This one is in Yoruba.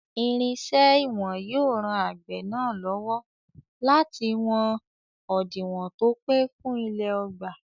Irinṣẹ́ ìwọ̀n yóò ran àgbẹ̀ náà lọ́wọ́ láti wọn òdiwọ̀n tó pé fún ilẹ̀ ọgbà.